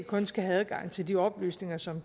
kun skal have adgang til de oplysninger som